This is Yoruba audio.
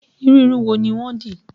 Irú irun wo ni wọ́n dì?